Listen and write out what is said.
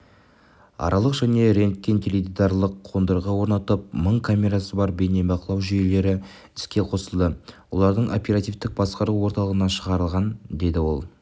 аркалық және рентгентеледидарлық қондырғы орнатылып мың камерасы бар бейнебақылау жүйелері іске қосылды олардың оперативтік басқару орталығына шығарылған деді ол